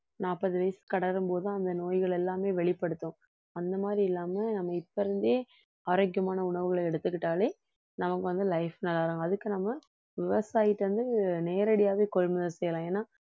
நாப்பது வயசு கடரும்போது அந்த நோய்கள் எல்லாமே வெளிப்படுத்தும் அந்த மாதிரி இல்லாம நம்ம இப்ப இருந்தே ஆரோக்கியமான உணவுகளை எடுத்துக்கிட்டாலே நமக்கு வந்து life அதுக்கு நம்ம விவசாயிட்ட இருந்து நேரடியாவே கொள்முதல் செய்யலாம் ஏன்னா